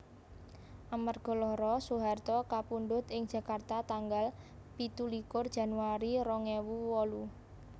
Amarga lara Soeharto kapundhut ing Jakarta tanggal pitulikur Januari rong ewu wolu